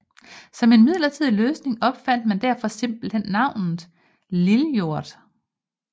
Som en midlertidig løsning opfandt man derfor simpelthen navnet Lijordet